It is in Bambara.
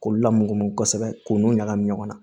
K'olu lamɔ kosɛbɛ k'u nun ɲagami ɲɔgɔn na